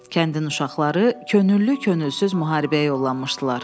Kəndin uşaqları könüllü könülsüz müharibəyə yollanmışdılar.